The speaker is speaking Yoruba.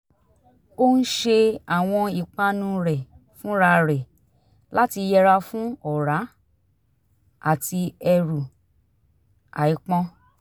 ó ń ṣe àwọn ìpanu rẹ̀ fúnra rẹ̀ láti yẹra fún ọ̀rá àti ẹrù àìpọn